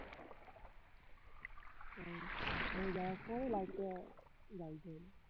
আমি যাওয়ার সময় light টা লাগিয়েছে বললো